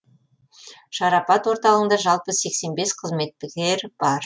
шарапат орталығында жалпы сексен бес қызметкер бар